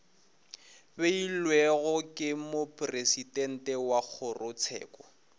beilwego ke mopresidente wa kgorotsheko